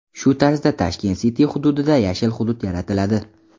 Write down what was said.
Shu tarzda Tashkent City hududida yashil hudud yaratiladi.